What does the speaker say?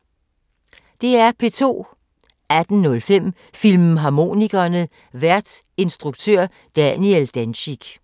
18:05: Filmharmonikerne: Vært instruktør Daniel Dencik